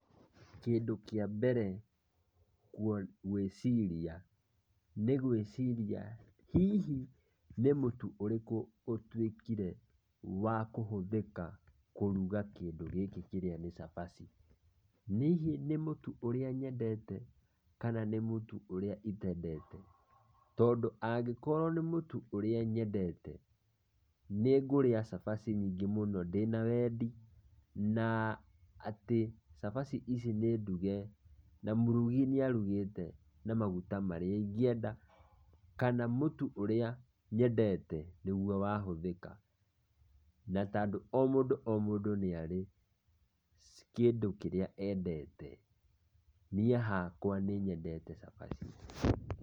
Kĩndũ kĩa mbere gwĩciria, nĩ gwĩciria hihi nĩ mũtu ũrĩkũ ũtuĩkire wa kũhũthĩka kũruga kĩndũ gĩkĩ kĩrĩa nĩ cabaci. Hihi nĩ mũtu ũrĩa nyendete, kana nĩ mũtu ũrĩa itendete? Tondũ angĩkorwo nĩ mũtu ũrĩa nyendete nĩ ngũrĩa cabaci nyingĩ mũno ndĩna wendi, na atĩ cabaci ici nĩnduge na mũrugi nĩarugĩte na maguta marĩa ingĩenda kana mũtu ũrĩa nyendete nĩguo wahũthĩka. Na tandũ o mũndũ o mũndũ nĩarĩ kĩndũ kĩrĩa endete, niĩ hakwa nĩnyendete cabaci.